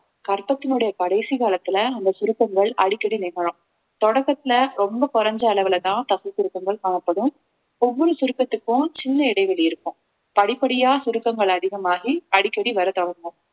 கர்ப்பத்தினுடைய கடைசி காலத்துல அந்த சுருக்கங்கள் அடிக்கடி நிகழும் தொடக்கத்துல ரொம்ப குறைஞ்ச அளவுலதான் தசை சுருக்கங்கள் காணப்படும் ஒவ்வொரு சுருக்கத்துக்கும் சின்ன இடைவெளி இருக்கும் படிப்படியா சுருக்கங்கள் அதிகமாகி அடிக்கடி வரத் தொடங்கும்